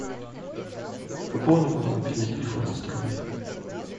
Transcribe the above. пополни мой мобильный телефон на сто рублей